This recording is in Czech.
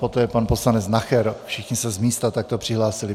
Poté pan poslanec Nacher, všichni se z místa takto přihlásili.